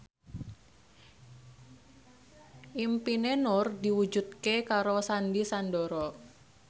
impine Nur diwujudke karo Sandy Sandoro